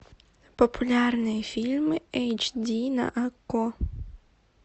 популярные фильмы эйч ди на окко